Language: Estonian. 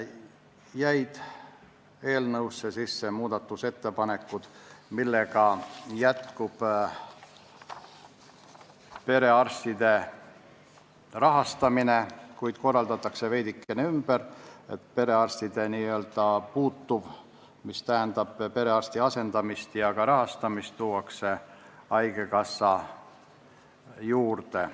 Eelnõusse jäi sisse muudatusettepanek, mille alusel jätkub perearstide rahastamine, kuid see korraldatakse veidikene ümber, kogu perearsti asendamise süsteem tuuakse haigekassa juurde.